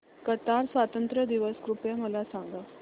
Qatar स्वातंत्र्य दिवस कृपया मला सांगा